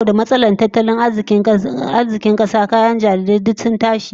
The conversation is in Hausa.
Saboda matsalar tattalin arzikin kasa, kayan jarirai ma duk zasu tashi